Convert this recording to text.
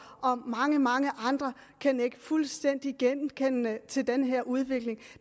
og mange mange andre kan nikke fuldstændig genkendende til den her udvikling